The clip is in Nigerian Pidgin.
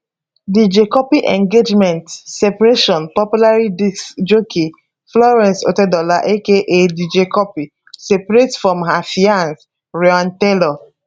dj cuppy engagement separation popular disc jockey florence otedola aka dj cuppy separate from her fianc ryan taylor